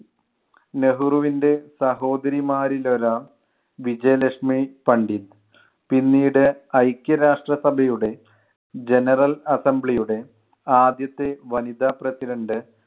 നെഹ്രുവിൻ്റെ സഹോദരിമാരിൽ ഒരാൾ വിജയലക്ഷ്‌മി പണ്ഡിറ്റ്, പിന്നീട് ഐക്യരാഷ്ട്ര സഭയുടെ general assembly യുടെ ആദ്യത്തെ വനിതാ president